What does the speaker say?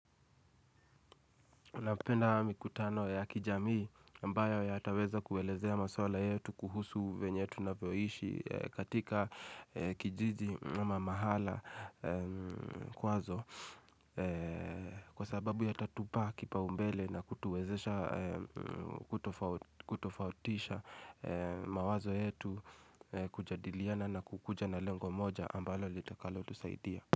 Napenda mikutano ya kijamii ambayo yataweza kuelezea maswala yetu kuhusu vyenye tunavyoishi katika kijiji ama mahala kwazo kwa sababu yatatupa kipaumbele na kutuwezesha kutofautisha mawazo yetu kujadiliana na kukuja na lengo moja ambalo litakalotusaidia.